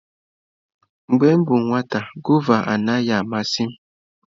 Mgbe m bụ nwata, gụva anaghị amasị m.